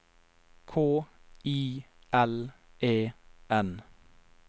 K I L E N